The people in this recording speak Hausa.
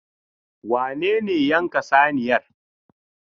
Wane ne yanka saniyar?